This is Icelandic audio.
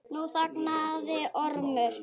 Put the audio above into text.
Nú þagnaði Ormur.